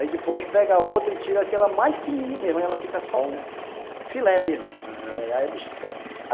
Aí depois pega outra e tira aquela mais fininha mesmo, aí ela fica só o filé mesmo, aham.